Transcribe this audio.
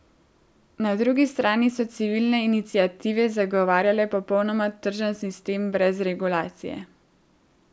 Na drugi strani so civilne iniciative zagovarjale popolnoma tržen sistem brez regulacije.